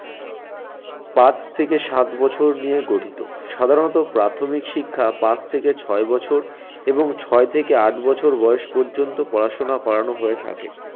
পাঁচ থেকে সাত বছর নিয়ে গঠিত। সাধারণত প্রাথমিক শিক্ষা পাঁচ থেকে ছয় বছর এবং ছয় থেকে আট বছর বয়স পর্যন্ত পড়াশোনা করানো হয়ে থাকে।